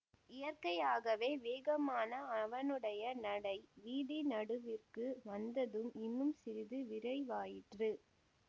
இயற்கையாகவே வேகமான அவனுடைய நடை வீதி நடுவிற்கு வந்ததும் இன்னும் சிறிது விரைவாயிற்று